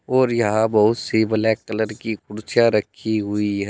और यहां बहुत सी ब्लैक कलर की कुर्सियां रखी हुई है।